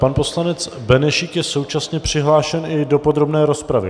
Pan poslanec Benešík je současně přihlášen i do podrobné rozpravy.